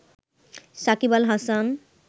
Shakib Al Hasan